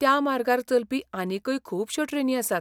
त्या मार्गार चलपी आनीकय खुबश्यो ट्रेनी आसात.